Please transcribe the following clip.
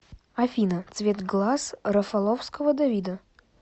афина цвет глаз рафаловского давида